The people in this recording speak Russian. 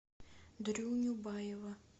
дрюню баева